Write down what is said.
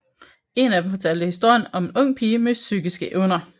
En af dem fortalte historien om en ung pige med psykiske evner